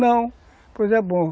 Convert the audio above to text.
Não, pois é bom.